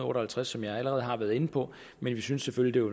og halvtreds som jeg allerede har været inde på men vi synes selvfølgelig